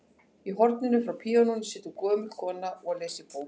Í horninu hjá píanóinu situr gömul kona og les í bók.